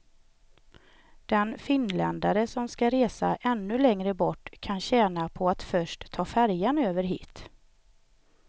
Den finländare som ska resa ännu längre bort kan tjäna på att först ta färjan över hit.